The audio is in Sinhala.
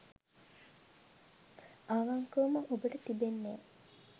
අවංකවම ඔබට තිබෙන්නේ